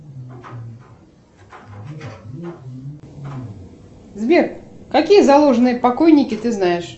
сбер какие заложенные покойники ты знаешь